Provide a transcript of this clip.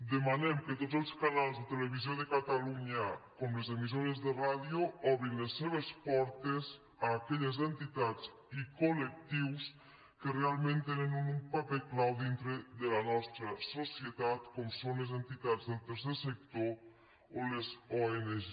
demanem que tots els canals de televisió de catalunya com les emissores de ràdio obrin les seves portes a aquelles entitats i collectius que realment tenen un paper clau dintre de la nostra societat com són les entitats del tercer sector o les ong